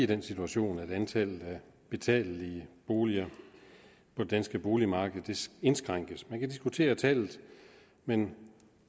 den situation at antallet af betalelige boliger på det danske boligmarked indskrænkes man kan diskutere tallet men